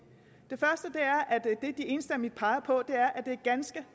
enstemmigt peger på er at det er ganske